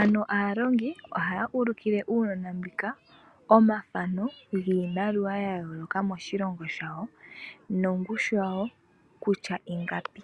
Ano aalongi oha ulukile uunona omafano giimaliwa yayoloka moshilongo shawo nongushu yawo kutua ingapi.